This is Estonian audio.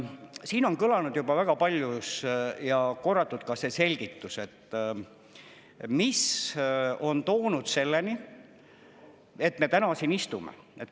Siin on kõlanud juba väga palju korratuna ka see selgitus, mis on viinud selleni, et me täna siin istume.